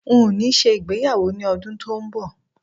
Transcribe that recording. N ó ṣe ìgbéyàwó ní ọdún tó ń bọ̀